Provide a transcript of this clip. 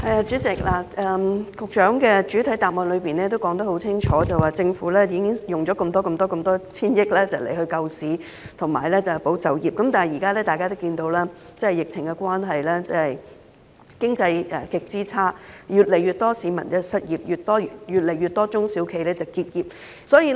主席，局長的主體答覆很清楚，政府用了數千億元救市和保就業，但現實的情況是：由於疫情持續，經濟極差，越來越多市民失業，越來越多中小企結業。